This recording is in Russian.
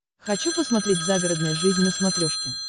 хочу посмотреть загородная жизнь на смотрешке